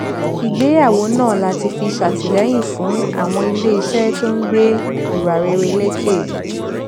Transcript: ìgbéyàwó náà láti fi ṣètìlẹyìn fún àwọn iléeṣẹ tó ń gbe ìwà rere leke